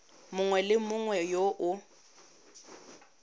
mongwe le mongwe yo o